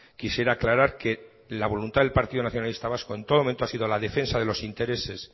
quisiera aclarar que la voluntad del partido nacionalista vasco en todo momento ha sido la defensa de los intereses